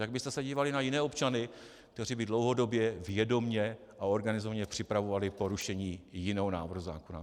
Jak byste se dívali na jiné občany, kteří by dlouhodobě, vědomě a organizovaně připravovali porušení jiného návrhu zákona?